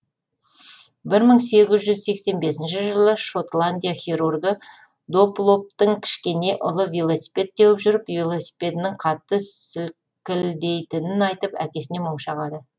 бір мың сегіз жүз сексен бесінші жылы шотландия хирургі доплоптың кішкене ұлы велосипед теуіп жүріп велосипедінің қатты селкілдейтінін айтып әкесіне мұң шағады